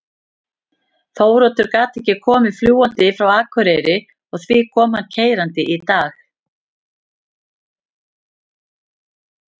Þóroddur gat ekki komið fljúgandi frá Akureyri og því kom hann keyrandi í dag.